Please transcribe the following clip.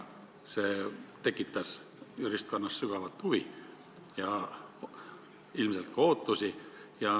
See tekitas juristkonnas sügavat huvi ja ilmselt ka ootusi.